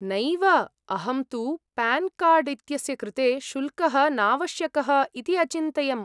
नैव, अहं तु, पान्कार्ड् इत्यस्य कृते शुल्कः नावश्यकः इति अचिन्तयम्।